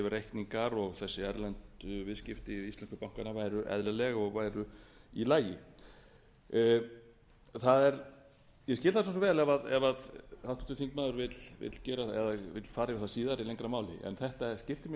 reikningar og þessi erlendu viðskipti við íslensku bankana væru eðlileg og væru í lagi ég skil það vel ef háttvirtur þingmaður vill fara yfir það síðar í lengra máli en þetta skiptir mjög miklu